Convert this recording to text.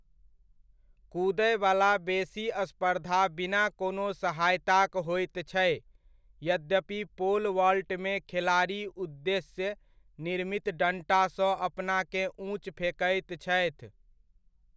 कूदयवला बेसी स्पर्धा बिना कोनो सहायताक होइत छै, यद्यपि पोल वॉल्टमे खेलाड़ी उद्देश्य निर्मित डण्टासँ अपनाकेँ ऊँच फेकैत छथि।